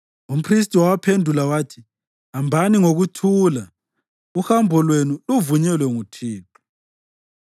Umphristi wawaphendula wathi, “Hambani ngokuthula. Uhambo lwenu luvunyelwe nguThixo.”